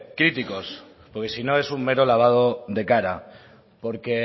críticos porque si no es un mero lavado de cara porque